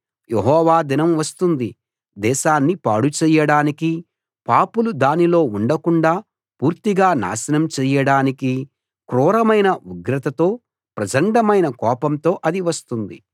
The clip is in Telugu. యెహోవా దినం వస్తోంది దేశాన్ని పాడు చెయ్యడానికీ పాపులు దానిలో ఉండకుండా పూర్తిగా నాశనం చెయ్యడానికీ క్రూరమైన ఉగ్రతతో ప్రచండమైన కోపంతో అది వస్తోంది